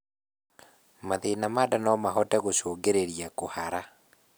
mathĩna ma ndaa nomahote gũcũngĩrĩrĩa kuhara